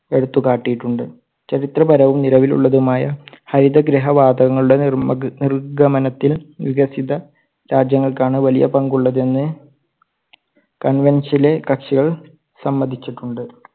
എടുത്തുകാട്ടിട്ടുണ്ട്. ചരിത്രപരവും നിലവിലുള്ളതുമായ ഹരിതഗൃഹവാതങ്ങളുടെ നിർമഗ്ഗ നിർഗ്ഗമനത്തിൽ വികസിത രാജ്യങ്ങൾക്കാണ് വലിയ പങ്കുള്ളതെന്ന് കക്ഷികൾ സമ്മതിച്ചിട്ടുണ്ട്.